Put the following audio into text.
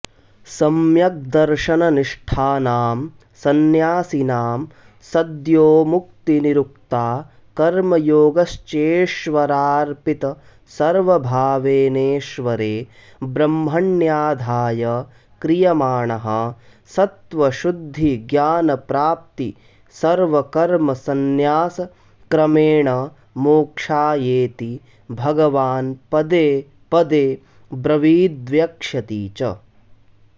सम्यग्दर्शननिष्ठानां संन्यासिनां सद्योमुक्तिरुक्ता कर्मयोगश्चेश्वरार्पितसर्वभावेनेस्वरे ब्रह्मण्याधाय क्रियमाणः सत्त्वशुद्धिज्ञानप्राप्तिसर्वकर्मसंन्यासक्रमेणमोक्षायेति भगवान्पदे पदेऽब्रवीद्वक्ष्यति च